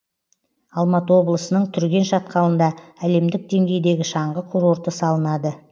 алматы облысының түрген шатқалында әлемдік деңгейдегі шаңғы курорты салынады